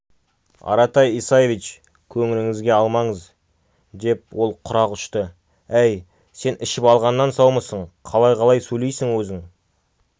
аратай исаевич көңіліңізге алмаңыз деп ол құрақ ұшты әй сен ішіп алғаннан саумысың қалай-қалай сөйлейсің өзің